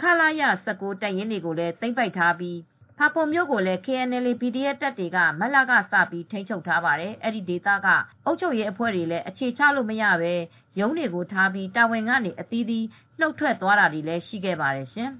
ခလရ ၁၉ တပ်ရင်းတွေကိုလည်း သိမ်းပိုက်ထားပြီး ဖာပွန်မြို့ကိုလည်း KNLA/PDF တပ်တွေက မတ်လကစပြီး ထိန်းချုပ်ထားပါတယ်။ အဲဒီဒေသက အုပ်ချုပ်ရေးအဖွဲ့တွေလည်း အခြေချလို့မရပဲ ရုံးတွေ ထားပြီးတာဝန်ကနေ အသီးသီးနှုတ်ထွက်တာတွေလည်းရှိခဲ့ပါတယ်ရှင်။